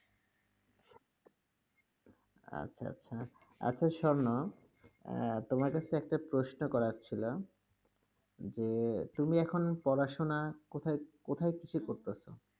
আচ্ছা আচ্ছা, আচ্ছা স্বর্ণ আহ তোমার কাছে একটা প্রশ্ন করার ছিল, যে তুমি এখন পড়াশোনা কোথায় ~ কোথায় থেকে করতাসো?